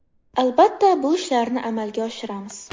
Albatta, bu ishlarni amalga oshiramiz.